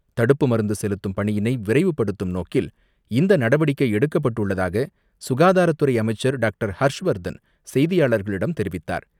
தடுப்பு மருந்துசெலுத்தும் பணியினை விரைவுப்படுதும் நோக்கில் இந்தநடவடிக்கை எடுக்கப்பட்டுள்ளதாக சுகாதாரத்துறை அமைச்சர் டாக்டர் ஹர்ஷ்வர்தன் செய்தியாளர்களிடம் தெரிவித்தார்.